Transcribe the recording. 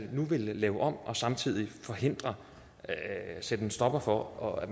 vil lave om og samtidig sætte en stopper for at